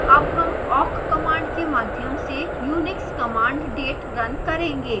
awk हम awk command के माध्यम से unix command date now करेंगे